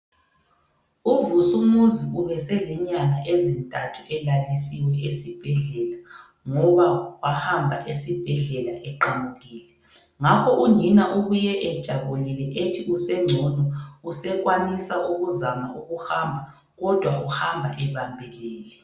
UVusumuzi ubeselenyanga ezithathu elalisiwe esibhedlela ngoba wahamba esibhedlela eqamukile. Ngakho unina ubuye ejabulile ethi usengcono usekwanisa ukuzama ukuhamba, kodwa uhamba ebambelele.